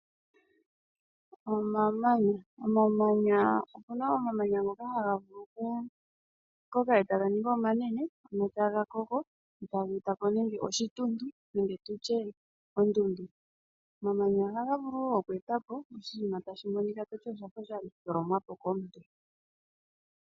Omamanya, opuna omamanya ngoka haga vulu oku koka etaga ningi omanene ano taga koko etaga etapo nando oshituntu nenge tutye ondundu. Omamanya ohaga vulu wo oku etapo oshinima tashi monika toti oshafa sha tholomwapo komuntu.